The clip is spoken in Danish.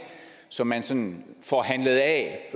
som man sådan får handlet af